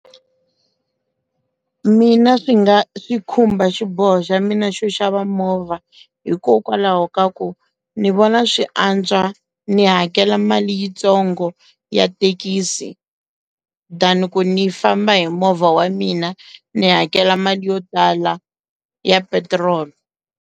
Mina swi nga swi khumba xiboho xa mina xo xava movha hikokwalaho ka ku ni vona swi antswa ni hakela mali yitsongo ya thekisi than ni famba hi movha wa mina ni hakela mali yo tala ya petiroli.